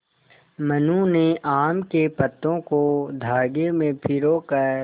मनु ने आम के पत्तों को धागे में पिरो कर